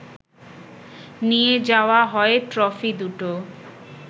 নিয়ে যাওয়া হয় ট্রফি দুটো